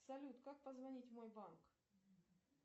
салют как позвонить в мой банк